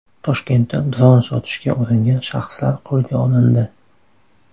Toshkentda dron sotishga uringan shaxslar qo‘lga olindi.